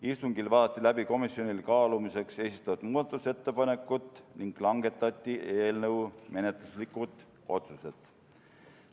Istungil vaadati läbi komisjonile kaalumiseks esitatud muudatusettepanekud ning langetati eelnõu menetluslikud otsused.